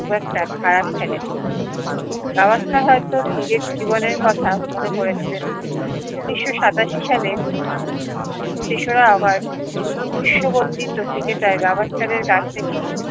খুব একটা খারাপ খেলেনি দাওয়াসকা হয়তো নিজের জীবনের কথা মনে পরেছিলেন উনিশশো সাতাশি সালে তেশরা আগস্ট বিশ্ব বন্দিতো ক্রিকেটার গাভাস্কারের কাছ থেকে